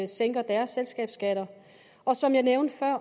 sænker deres selskabsskat og som jeg nævnte før